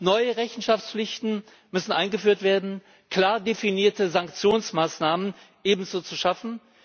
Neue Rechenschaftspflichten müssen eingeführt werden, ebenso sind klar definierte Sanktionsmaßnahmen zu schaffen.